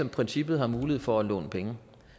princippet har mulighed for at låne penge